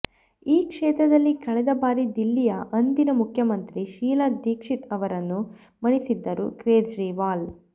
ಈ ಕ್ಷೇತ್ರದಲ್ಲಿ ಕಳೆದ ಬಾರಿ ದಿಲ್ಲಿಯ ಅಂದಿನ ಮುಖ್ಯಮಂತ್ರಿ ಶೀಲಾ ದೀಕ್ಷಿತ್ ಅವರನ್ನು ಮಣಿಸಿದ್ದರು ಕೇಜ್ರೀವಾಲ್